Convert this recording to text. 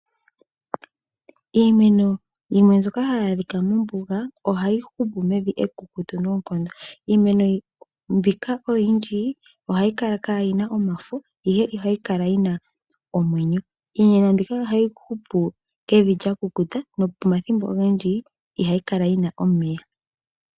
Iimeno yimwe mbyoka hayi adhika mombuga ohayi hupu mevi ekukutu noonkondo niimeno mbika oyindji ihayi Kala nomafo nonando oyina omwenyo. iimeno mbika ohayi hupu pevi lyakukuta nomathimbo ogendji ihayikala yina omeya.